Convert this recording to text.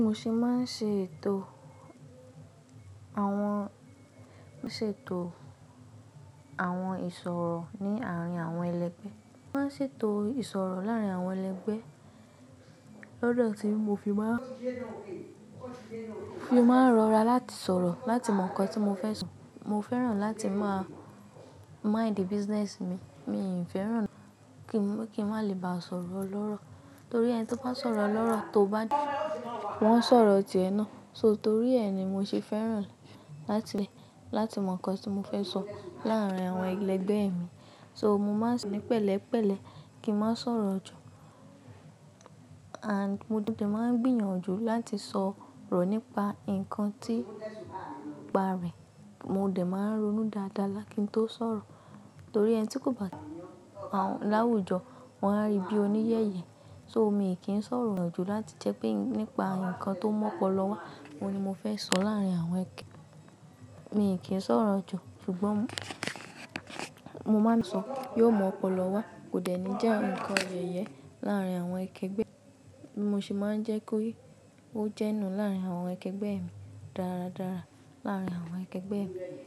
Mo ṣì máa ń ṣètò àwọn, ṣètò àwọn ìṣòro ní àárín àwọn ẹlẹgbẹ́. Mo máa ń ṣètò ìṣòro láàárín àwọn ẹlẹgbẹ́ lọ́dọ̀ tí mo fi máa, fi máa rọra láti sọ̀rọ̀, láti mọ nǹkan tí mo fẹ́ sọ. Mo fẹ́ràn láti máa mind the business mi. Mi oò fẹ́ràn kí wọ́n, kí n máa le bá sọ̀rọ̀ olọ́rọ̀. Torí ẹni tí ó bá sọ̀rọ̀ lọ́rọ̀ tó bá dì, wọ́n ṣòro ti ẹ ná. So torí ẹ ni mo ṣe fẹ́ràn láti, láti mọ nǹkan tí mo fẹ́ sọ láàárín àwọn ẹlẹgbẹ́ mi. So mo máa ń ṣe pẹ̀lẹ́pẹ̀lẹ́ kí n má sọ̀rọ̀ jù. And mo de máa ń gbìyànjú láti sọ̀rọ̀ nípa nǹkan tí ìparí. Mo dẹ̀ máa ń ronú dáadáa lákìn tó sọ̀rọ̀. Torí ẹni tí kò bá láwùjọ, wọ́n á rí bí oníyẹ̀yẹ. So mi kì í sọ̀rọ̀ jù láti jẹ́ pé nípa nǹkan tó mu ọ́polọ wá, òun ni mo fẹ́ sọ láàárín àwọn ẹ. Mi kì í sọ̀rọ̀ jù ṣùgbọ́n mo máa ń sọ, yóò mu ọ́polọ wá kò dẹ̀ ní jẹ́ ǹkan yẹ̀yẹ láàárín àwọn ẹkẹgbẹ́ mi. Mo se máa ń jẹ́ kó yé ó jẹ́ nú láàárín àwọn ẹkẹgbẹ́ mi dáradára, láàárín àwọn ẹkẹgbẹ́ mi.